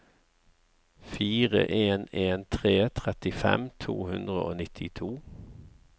fire en en tre trettifem to hundre og nittito